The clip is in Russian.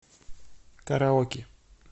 караоке